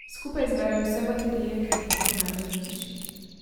Skupaj zberem vse baterije, ki jih lahko najdem v hiši.